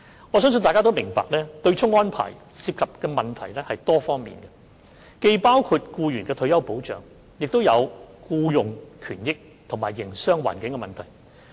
我相信大家都明白，對沖安排涉及的問題是多方面的，既包括僱員的退休保障，亦有僱傭權益，以及營商環境。